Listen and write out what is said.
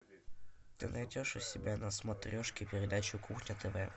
ты найдешь у себя на смотрешке передачу кухня тв